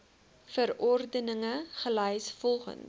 verordeninge gelys volgens